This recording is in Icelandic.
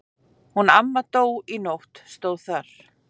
Hún amma dó í nótt stóð þar.